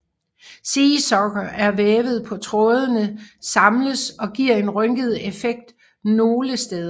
Seersucker er vævet så trådene samles og giver en rynket effekt nogle steder